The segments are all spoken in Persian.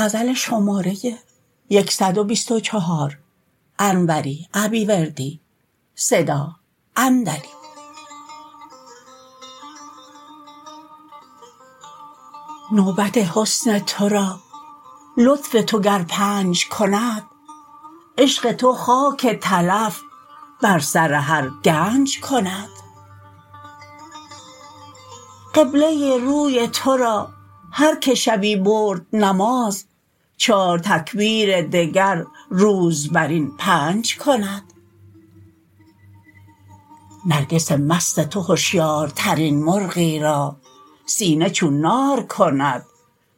نوبت حسن ترا لطف تو گر پنج کند عشق تو خاک تلف بر سر هر گنج کند قبله روی ترا هرکه شبی برد نماز چار تکبیر دگر روز بر این پنج کند نرگس مست تو هشیارترین مرغی را سینه چون نار کند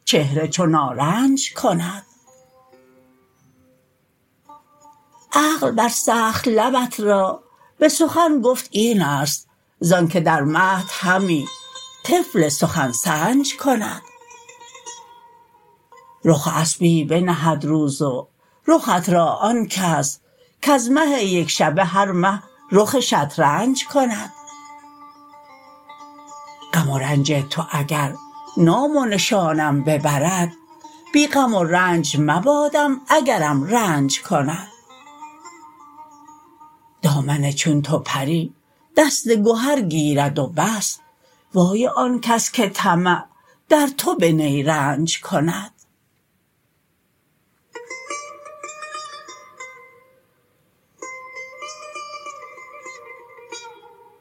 چهره چو نارنج کند عقل بر سخت لبت را به سخن گفت این است زانکه در مهد همی طفل سخن سنج کند رخ و اسبی بنهد روز و رخت را آن کس کز مه یک شبه هر مه رخ شطرنج کند غم و رنج تو اگر نام و نشانم ببرد بی غم و رنج مبادم اگرم رنج کند دامن چون تو پری دست گهر گیرد و بس وای آنکس که طمع در تو به نیرنج کند